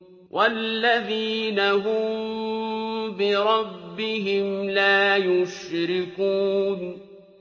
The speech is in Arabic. وَالَّذِينَ هُم بِرَبِّهِمْ لَا يُشْرِكُونَ